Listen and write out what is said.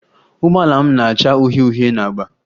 Ụgbọala m na-acha uhie uhie na agba